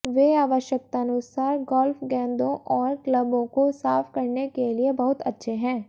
वे आवश्यकतानुसार गोल्फ गेंदों और क्लबों को साफ करने के लिए बहुत अच्छे हैं